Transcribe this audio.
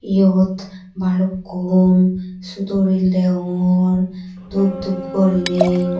Eyot balukkun sudo reel degongor doob doob gori nei.